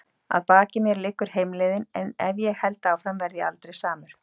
Að baki mér liggur heimleiðin- en ef ég held áfram verð ég aldrei samur.